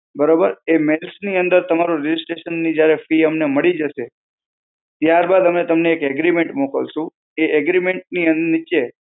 બરોબર? એ mails ની અંદર તમારો registration ની જ્યારે fee અમને મળી જશે, ત્યારબાદ અમે તમને એક agreement મોકલશું. એ agreement ની અં નીચે,